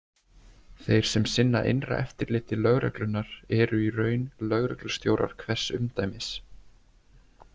Þeir sem sinna innra eftirliti lögreglunnar eru í raun lögreglustjórar hvers umdæmis.